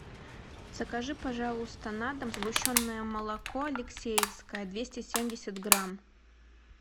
закажи пожалуйста на дом сгущенное молоко алексеевское двести семьдесят грамм